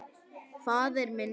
Faðir minn kær.